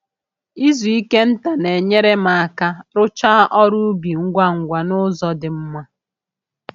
Izu ike nta na-enyere m aka rụchaa ọrụ ubi ngwa ngwa n'uzọ di mma